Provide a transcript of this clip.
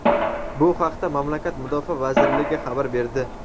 Bu haqda mamlakat Mudofaa vazirligi xabar berdi.